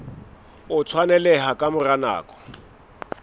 o tshwaneleha ka mora nako